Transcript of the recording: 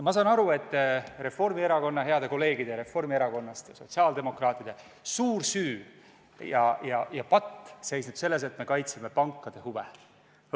Ma saan aru, et heade kolleegide reformierakondlaste ja sotsiaaldemokraatide suur süü ja patt seisneb selles, et me kaitseme pankade huve.